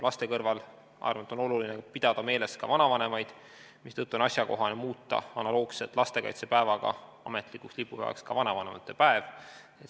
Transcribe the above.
Laste kõrval, ma arvan, on oluline pidada meeles ka vanavanemaid, mistõttu on asjakohane muuta analoogselt lastekaitsepäevaga ametlikuks lipupäevaks ka vanavanemate päev.